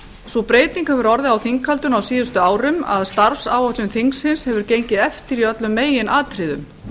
sú breyting hefur orðið á þinghaldinu á síðustu árum að starfsáætlun þingsins hefur gengið eftir í öllum meginatriðum